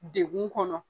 Degun kɔnɔ